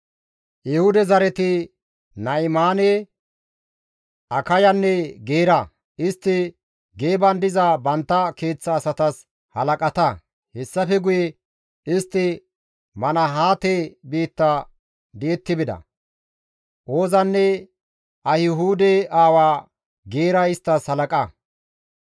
Ehuude zareti Na7imaane, Akayanne Geera; istti Geeban diza bantta keeththa asatas halaqata; hessafe guye istti Manahaate biitta di7etti bida; Oozanne Ahihuude aawa Geeray isttas halaqa.